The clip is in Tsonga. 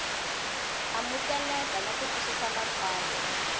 amukeleka na ku twisisa matsalwa